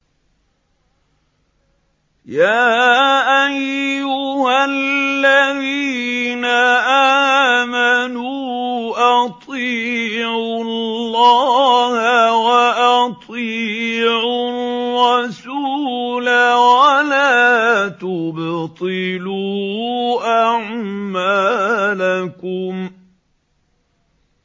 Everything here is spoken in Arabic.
۞ يَا أَيُّهَا الَّذِينَ آمَنُوا أَطِيعُوا اللَّهَ وَأَطِيعُوا الرَّسُولَ وَلَا تُبْطِلُوا أَعْمَالَكُمْ